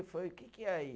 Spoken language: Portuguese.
o que que é aí?